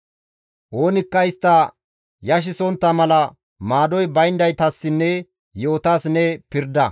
Oonikka istta yashisontta mala maadoy bayndaytassinne yi7otas ne pirda.